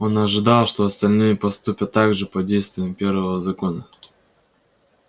он ожидал что и остальные поступят так же под действием первого закона